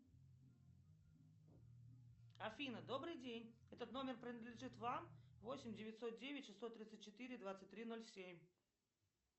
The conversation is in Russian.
афина добрый день этот номер принадлежит вам восемь девятьсот девять шестьсот тридцать четыре двадцать три ноль семь